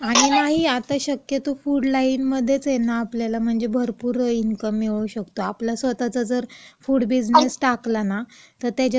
अगं नाही, आता शक्यतो फूड लाईनमध्येच आहे ना, आपल्याला म्हणजे भरपूर इन्कम मिळवू शकतो. आपला स्वतःचा जर फूड बिझनेस टाकला ना, तर त्याच्यात पण